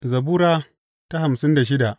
Zabura Sura hamsin da shida